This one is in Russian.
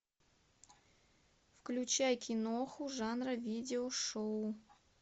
включай киноху жанра видеошоу